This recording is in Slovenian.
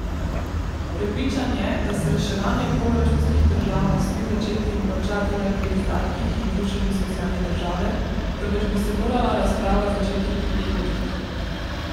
Prepričan je, da se reševanje proračunskih težav ne sme začeti in končati le pri izdatkih in rušenju socialne države, temveč bi se morala razprava začeti pri prihodkih.